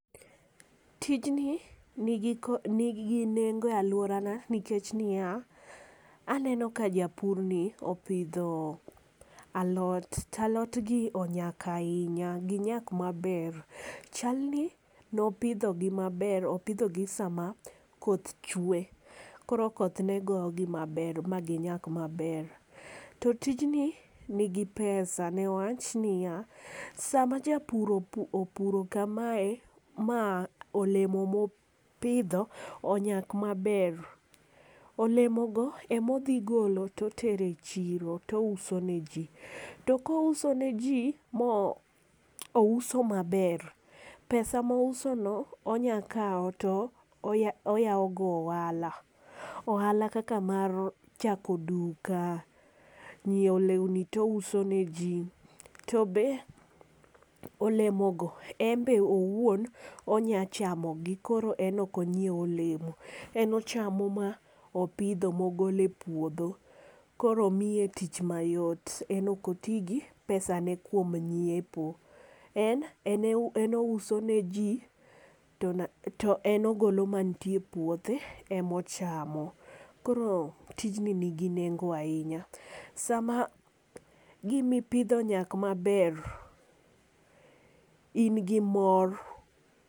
Tijni ni gi kod ni gi nengo e aluora nikech ni ya, aneno ka japur ni opidho alot to alot gi onyak ainya gi nyak ma ber chal ni ne opidho gi ma ber opidho gi sa ma koth chwe. Koro koth ne go gi ma ber ma gi nyak ma ber. To tijni ni gi pesa ne wach ni ya, saa ma japur opuro ka ma e ma olemo ma opidho onyak ma ber, olemo go ema odhi golo to tero e chiro to ouso ne ji. To ko ouso ne ji ma ouso ma ber ,pesa ma ouso no onya kawo to oyawo go ohala. Ohala kaka mar chako duka ,nyiewo lewni to ouso ne ji. To olemo go en be owuon onya chamo gi koro en ok onyiew olemo ,en ochamo ma opidho ma ogolo e puodho koro miye tich ma yot en ok oti gi pesa ne kuom nyiepo. En ouso ne ji to en ogolo mantie puothe ema ochamo. Koro tijni ni gi nengo ainya. Saa ma gik mi ipidho onyak ma ber in gi mor.